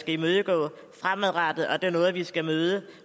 imødegå fremadrettet og det er noget vi skal møde